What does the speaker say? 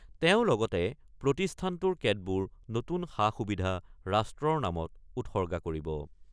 তেওঁ লগতে প্ৰতিষ্ঠানটোৰ কেতবোৰ নতুন সা-সুবিধা ৰাষ্ট্ৰৰ নামত উৎসৰ্গা কৰিব।